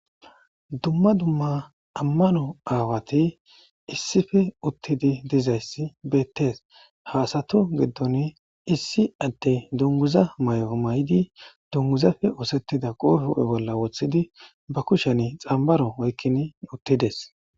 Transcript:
dumma dumma ammano aawati issife uttidi dizayssi beettees haasato giddon issi atte dunguza may'o may7idi dunguzafe oosettida qooh ho7e bolla woththidi ba kushen xambaro oykkin uttides